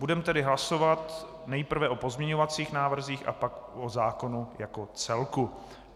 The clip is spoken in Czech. Budeme tedy hlasovat nejprve o pozměňovacích návrzích a pak o zákonu jako celku.